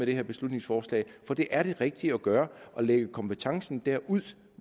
det her beslutningsforslag for det er det rigtige at gøre at lægge kompetencen derud